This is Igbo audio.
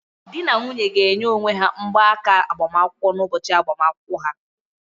Di na nwunye ga na-enye onwe ha mgbaaka agbamakwụkwọ n'ụbọchị agbamakwụkwọ ha